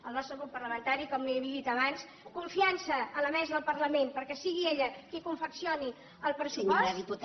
el nostre grup parlamentari com li he dit abans confiança a la mesa del parlament perquè sigui ella qui confeccioni el pressupost